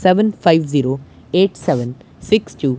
seven five zero eight seven six two --